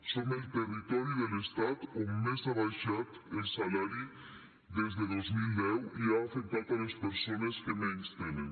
som el territori de l’estat on més ha baixat el salari des de dos mil deu i ha afectat les persones que menys tenen